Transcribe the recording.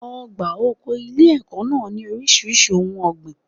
Ọgbà oko ilé ẹ̀kọ́ náà ní oríṣiríṣi ohun ọ̀gbìn.